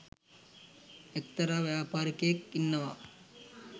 එක්තරා ව්‍යාපාරිකයෙක් ඉන්නවා